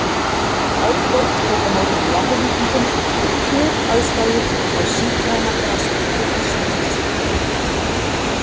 Árborg tók á móti Njarðvíkingum við kjöraðstæður á sígræna grasvellinum á Selfossi í gærkvöldi.